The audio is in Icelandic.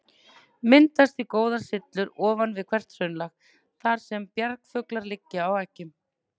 Myndast því góðar syllur ofan við hvert hraunlag, þar sem bjargfuglar liggja á eggjum.